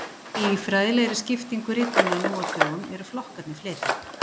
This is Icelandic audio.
Í fræðilegri skiptingu ritanna nú á dögum eru flokkarnir fleiri.